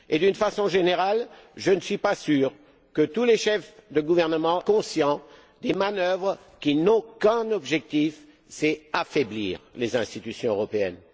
D'une façon générale, je ne suis pas sûre que tous les chefs de gouvernement soient conscients des manœuvres qui n'ont qu'un objectif affaiblir les institutions européennes.